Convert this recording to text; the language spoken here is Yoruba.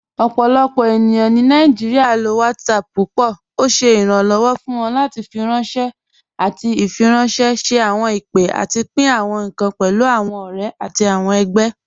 Ọpọlọpọ ènìyàn ni Nàìjíríà ló WhatsApp púpọ. Ọ̀ ṣẹ iránlọ́wọ̀ fún wọn láti fíranṣẹ̀ àwọn ìfiránṣẹ̀, ṣẹ̀ àwọn ìpè, àtì pín àwọn ìkàn pẹ̀lú àwọn ọ̀rẹ̀ àtì àwọn ẹgbẹ̀.